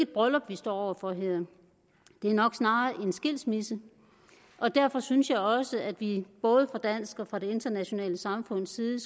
bryllup vi står over for her det er nok snarere en skilsmisse og derfor synes jeg også at vi både fra dansk og fra det internationale samfunds side